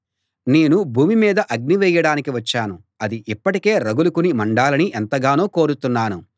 నేను భూమి మీద అగ్ని వేయడానికి వచ్చాను అది ఇప్పటికే రగులుకుని మండాలని ఎంతగానో కోరుతున్నాను